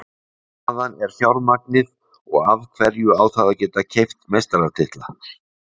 Hvaðan er fjármagnið og af hverju á það að geta keypt meistaratitla?